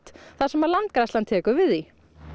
þar sem Landgræðslan tekur við því